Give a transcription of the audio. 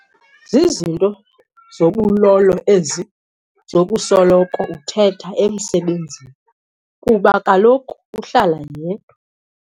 Zizinto zobulolo ezi zokusoloko ethetha emsebenzini kuba kaloku uhlala yedwa.